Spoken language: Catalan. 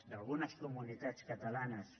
d’algunes comunitats catalanes